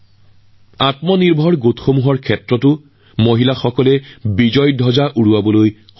মহিলাসকলে নিজৰ স্থান দখল কৰা আন এটা ক্ষেত্ৰ হল আত্মসহায়ক গোট